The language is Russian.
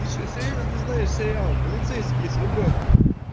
ты что серьёзно не знаешь сериал полицейский с рублёвки